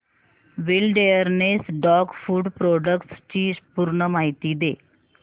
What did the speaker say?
wilderness dog food products ची पूर्ण माहिती दे